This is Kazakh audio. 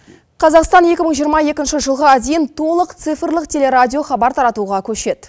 қазақстан екі мың жиырма екінші жылғы дейін толық цифрлық телерадио хабар таратуға көшеді